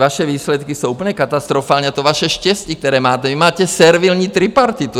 Vaše výsledky jsou úplně katastrofální a to vaše štěstí, které máte - vy máte servilní tripartitu.